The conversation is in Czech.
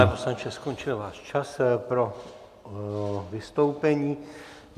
Pane poslanče, skončil váš čas pro vystoupení.